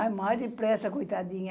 Ai, mais depressa, coitadinha.